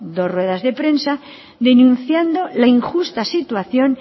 dos ruedas de prensa denunciando la injusta situación